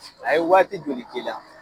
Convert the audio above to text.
A ye waati joli k'i la?